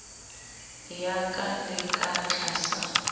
ya ka le ka tlasa